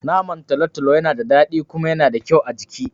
Naman talotalo Yana da dadi kuma Yana da kyau a jiki